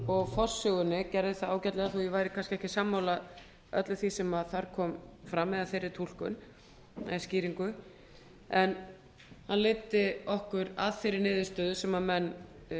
og forsögunni gerði það ágætlega þó ég væri kannski ekki sammála öllu því sem þar kom fram eða þeirri túlkun eða skýringu en hann leiddi okkur að þeirri niðurstöðu sem menn